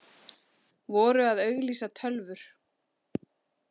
Voru að auglýsa tölvur